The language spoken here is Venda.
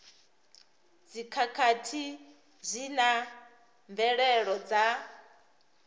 dzikhakhathi zwi na mvelelo dza